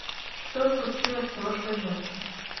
что случилось прошлой ночью